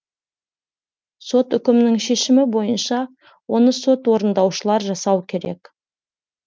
сот үкімінің шешімі бойынша оны сот орындаушылар жасау керек